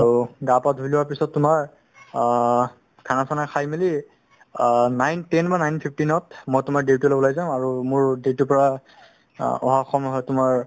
আৰু গা পা ধুই লোৱাৰ পিছত তুমাৰ আ খানা চানা খাই মিলি আ nine ten বা nine fifteen ত মই তুমাৰ duty লৈ উলাই যাও আৰু মোৰ duty পৰা অহা সময় হয় তুমাৰ